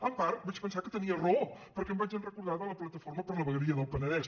en part vaig pensar que tenia raó perquè em vaig recordar de la plataforma per la vegueria del penedès